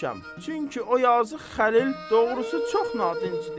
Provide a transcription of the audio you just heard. Çünki o yazıq Xəlil doğrusu çox nadincdir.